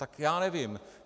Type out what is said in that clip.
Tak já nevím.